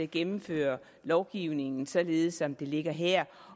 gennemføre lovgivningen således som det ligger her